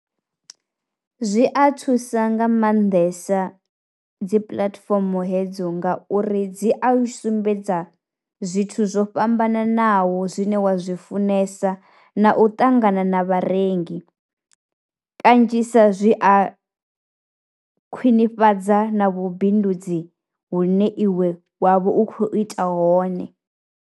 Zwi a thusa nga maanḓesa dzi puḽatifomo hedzo ngauri dzi a u sumbedza zwithu zwo fhambananaho zwine wa zwifunesa na u ṱangana na vharengi, kanzhisa zwi a khwinifhadza na vhubindudzi vhune iwe wavha u kho ita hone.